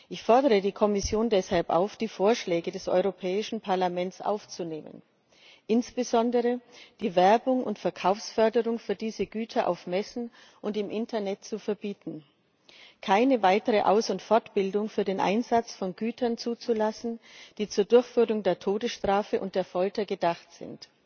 Ich fordere die Kommission deshalb auf, die Vorschläge des Europäischen Parlaments aufzunehmen, insbesondere, die Werbung und Verkaufsförderung für diese Güter auf Messen und im Internet zu verbieten, keine weitere Aus und Fortbildung für den Einsatz von Gütern zuzulassen, die zur Durchführung der Todesstrafe und der Folter gedacht sind.